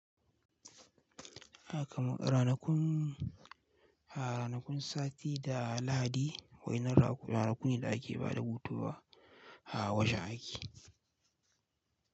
Kaga kaman ranakun, a, ranakun Sati da Lahadi waƴannan ranaku ne da ake ba da hutawa a wajan aiki.